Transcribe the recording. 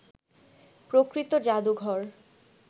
প্রকৃত জাদুঘর